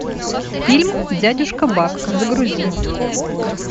фильм дядюшка бак загрузи